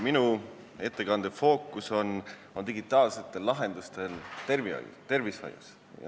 Minu ettekande fookus on digitaalsetel lahendustel tervishoius.